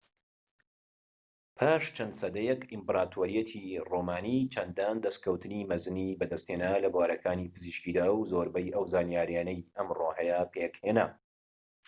پاش چەند سەدەیەك ئیمپراتۆریەتی ڕۆمانی چەندان دەستکەوتی مەزنی بەدەستهێنا لە بوارەکانی پزیشکیدا و زۆربەی ئەو زانیاریەی ئەمڕۆ هەیە پێکهێنا